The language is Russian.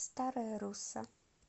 старая русса